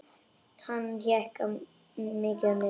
Hann hékk mikið á netinu.